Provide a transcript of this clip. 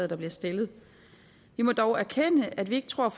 der bliver stillet vi må dog erkende at vi ikke tror at